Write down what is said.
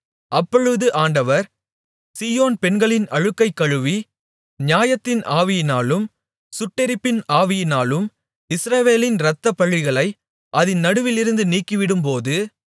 அப்பொழுது ஆண்டவர் சீயோன் பெண்களின் அழுக்கைக் கழுவி நியாயத்தின் ஆவியினாலும் சுட்டெரிப்பின் ஆவியினாலும் எருசலேமின் இரத்தப்பழிகளை அதின் நடுவிலிருந்து நீக்கிவிடும்போது